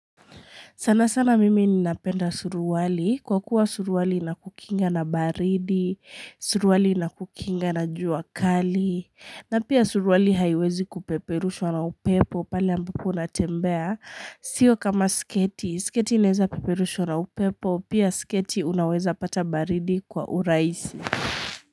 Sana sana mimi ninapenda suruali, kwa kuwa suruali inakukinga na baridi, suruali inakukinga na jua kali, na pia suruali haiwezi kupeperushwa na upepo pale ambapo unatembea, sio kama sketi, sketi inaweza peperushwa na upepo, pia sketi unaweza pata baridi kwa urahisi.